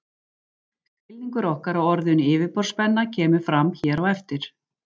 Skilningur okkar á orðinu yfirborðsspenna kemur fram hér á eftir.